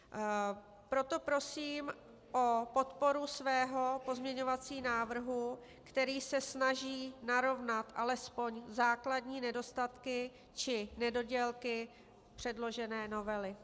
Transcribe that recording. Proto prosím o podporu svého pozměňovacího návrhu, který se snaží narovnat alespoň základní nedostatky či nedodělky předložené novely.